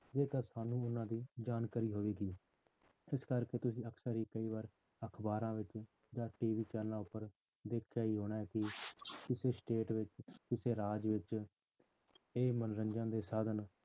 ਜੇਕਰ ਸਾਨੂੰ ਉਹਨਾਂ ਜਾਣਕਾਰੀ ਹੋਵੇਗੀ ਜਿਸ ਕਰਕੇ ਤੁਸੀਂ ਅਕਸਰ ਹੀ ਕਈ ਵਾਰ ਅਖ਼ਬਾਰਾਂ ਵਿੱਚ ਜਾਂ ਟੀਵੀ ਚੈਨਲਾਂ ਉੱਪਰ ਦੇਖਿਆ ਹੀ ਹੋਣਾ ਹੈ ਕਿ ਕਿਸੇ state ਵਿੱਚ ਕਿਸੇ ਰਾਜ ਵਿੱਚ ਇਹ ਮੰਨੋਰੰਜਨ ਦੇ ਸਾਧਨ